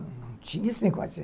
Não tinha esse negócio.